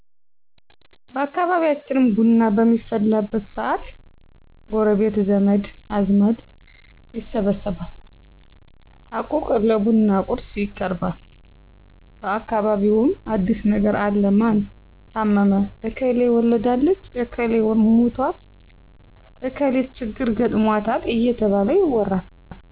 በአካባቢያችን ቡና በሚፈላበት ሰአት ጎረቤት ዘመድ አዝማድ ይሰበሰባል አቁቅ ለቡና ቁርስ ይቀርባል በአካባቢውምን አዲስ ነገር አለ ማን ታመመ እከሌ ወልዳለች እክሌ ሙቶል እከሊት ችግር ገጥሞታል እየተባለ ይወራል